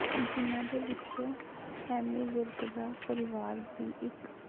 ਜਿਹਨਾਂ ਦੇ ਵਿੱਚੋ ਐਮੀ ਵਿਰਕ ਦਾ ਪਰਿਵਾਰ ਵੀ ਇੱਕ